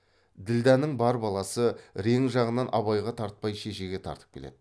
ділдәнің бар баласы рең жағынан абайға тартпай шешеге тартып келеді